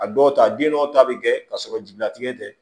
A dɔw ta den dɔw ta bi kɛ ka sɔrɔ jigilatigɛ tɛ